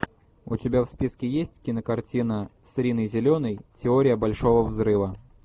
у тебя в списке есть кинокартина с риной зеленой теория большого взрыва